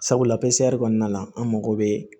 Sabula kɔnɔna la an mago bɛ